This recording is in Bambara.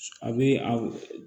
A bɛ